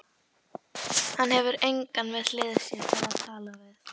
Hann hefur engan við hlið sér til að tala við.